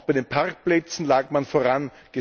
Auch bei den Parkplätzen lag man vorn.